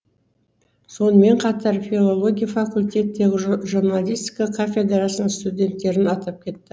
сонымен қатар филология факультеті журналистика кафедрасының студенттерін атап кетті